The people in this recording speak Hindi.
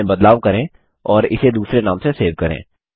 इसमें बदलाव करें और इसे दूसरे नाम से सेव करें